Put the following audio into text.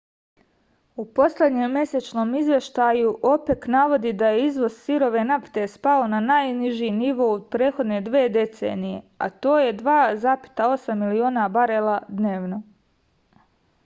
u poslednjem mesečnom izveštaju opek navodi da je izvoz sirove nafte spao na najniži nivo u prethodne dve decenije a to je 2,8 miliona barela dnevno